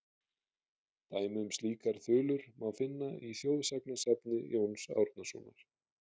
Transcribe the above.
Dæmi um slíkar þulur má finna í þjóðsagnasafni Jóns Árnasonar:.